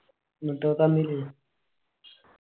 എന്നിട്ട് അത് തന്നില്ലേ?